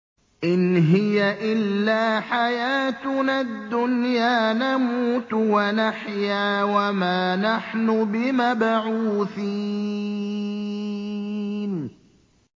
إِنْ هِيَ إِلَّا حَيَاتُنَا الدُّنْيَا نَمُوتُ وَنَحْيَا وَمَا نَحْنُ بِمَبْعُوثِينَ